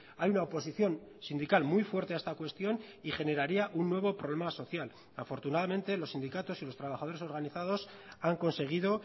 hay una oposición sindical muy fuerte a esta cuestión y generaría un nuevo problema social afortunadamente los sindicatos y los trabajadores organizados han conseguido